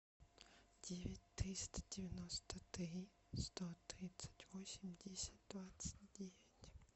девять триста девяносто три сто тридцать восемь десять двадцать девять